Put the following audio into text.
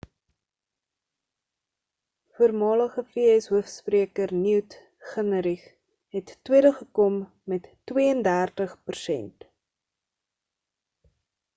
voormalige vs hoofspreker newt gingrich het tweede gekom met 32 persent